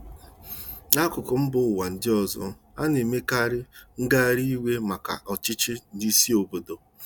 N'akụkụ mba ụwa ndị ọzọ, ana-emekarị ngagharị iwe maka ọchịchị n'isi obodo.